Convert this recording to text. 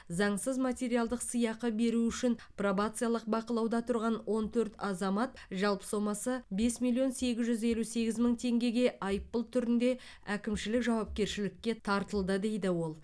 заңсыз материалдық сыйақы беру үшін пробациялық бақылауда тұрған он төрт азамат жалпы сомасы бес миллион сегіз жүз елу сегіз мың теңгеге айыппұл түрінде әкімшілік жауапкершілікке тартылды дейді ол